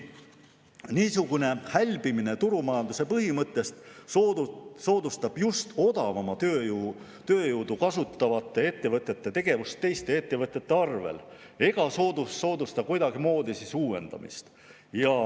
Niisugune hälbimine turumajanduse põhimõttest soodustab just odavamat tööjõudu kasutavate ettevõtete tegevust teiste ettevõtete arvel ega soodusta kuidagimoodi uuendamist.